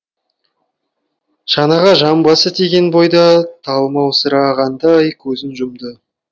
шанаға жамбасы тиген бойда талмаусырағандай көзін жұмды